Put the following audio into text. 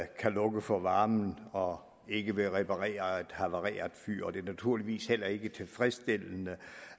kan lukke for varmen og ikke vil reparere et havareret fyr og det er naturligvis heller ikke tilfredsstillende